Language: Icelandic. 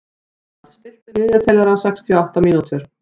Dalmar, stilltu niðurteljara á sextíu og átta mínútur.